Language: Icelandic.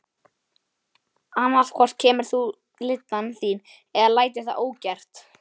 Annað hvort kemur þú lyddan þín eða lætur það ógert.